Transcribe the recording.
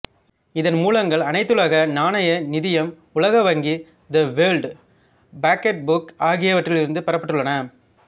இதன் மூலங்கள் அனைத்துலக நாணய நிதியம் உலக வங்கி த வேர்ல்டு ஃபக்ட்புக் ஆகியவற்றிலிருந்து பெறப்பட்டுள்ளன